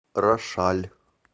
рошаль